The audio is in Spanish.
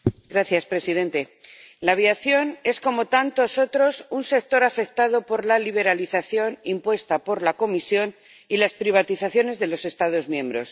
Señor presidente, la aviación es, como tantos otros, un sector afectado por la liberalización impuesta por la Comisión y las privatizaciones de los Estados miembros.